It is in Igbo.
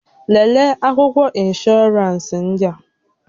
Lelee akwụkwọ ịnsbhọọransị ndị a!